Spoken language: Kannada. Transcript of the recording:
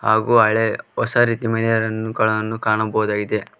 ಹಾಗೂ ಹಳೇ ಹೊಸ ರೀತಿ ಮನೆಯರನ್ನು ಗಳನ್ನು ಕಾಣಬಹುದಾಗಿದೆ.